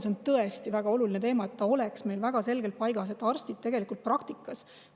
See on tõesti väga oluline teema, et see oleks meil väga selgelt paigas.